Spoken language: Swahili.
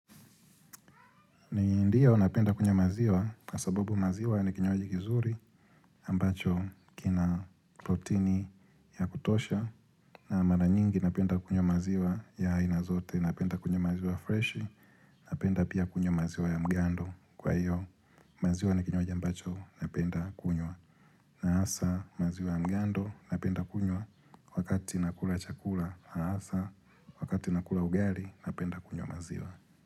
Ndiyo napenda kunywa maziwa, kwa sasabu maziwa ya ni kinywaji kizuri ambacho kina protini ya kutosha, na mara nyingi napenda kunywa maziwa ya aina zote, napenda kunywa maziwa fresh, napenda pia kunywa maziwa ya mgando kwa iyo. Maziwa ni kinywaaji ambacho napenda kunywa na hasa maziwa ya mgando napenda kunywa wakati nakula chakula, na hasa wakati nakula ugali napenda kunywa maziwa.